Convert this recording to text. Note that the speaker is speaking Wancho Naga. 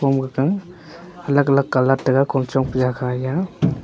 gaka alag alag colour tega kom chongpe jaga eya.